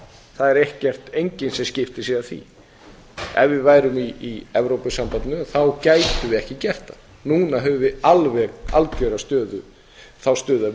það er enginn sem skiptir sér af því ef við værum í evrópusambandinu þá gætum við ekki gert það núna höfum við alveg algjöra þá stöðu að